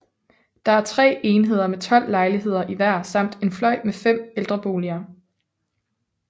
Der er 3 enheder med 12 lejligheder i hver samt en fløj med 5 ældreboliger